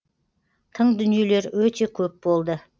тың дүниелер өте көп болды